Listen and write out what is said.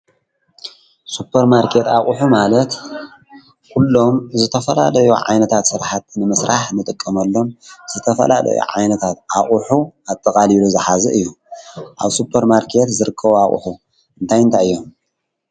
ሱጰፐርማርኬት ኣቝሑ ማለት ዂሎም ዝተፈላለዮ ዓይነታት ስራሓት ንምሥራሕ ንጥቀመሎም ዝተፈላለዮ ዓይነታት ኣቝሑ ኣጠቓሊሉ ዝሓዘ እዩ፡፡ ኣብ ሱፐር ማርኬት ዘርክቡ ኣቕሑ እንታይንታይ እዮም?